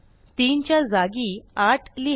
3 च्या जागी 8 लिहा